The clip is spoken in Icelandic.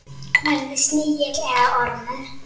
Verði snigill eða ormur.